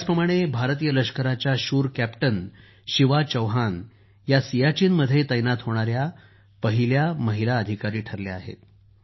त्याचप्रमाणे भारतीय लष्कराच्या शूर कॅप्टन शिवा चौहान या सियाचीनमध्ये तैनात होणाऱ्या पहिल्या महिला अधिकारी ठरल्या आहेत